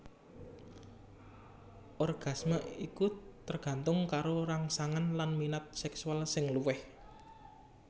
Orgasme iku tergantung karo rangsangan lan minat seksual sing luwih